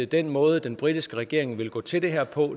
den måde den britiske regering vil gå til det her på